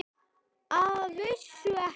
Að vísu ekki.